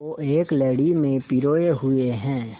को एक लड़ी में पिरोए हुए हैं